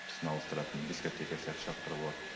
түсін ауыстыратын дискотека сияқты шырақтар болады